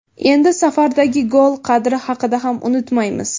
Endi safardagi gol qadri haqida ham unutmaymiz.